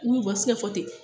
Ulu ka sirafɔ tɛ